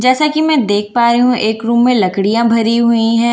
जैसा कि मैं देख पा रही हूं एक रूम में लकड़ियां भरी हुई हैं।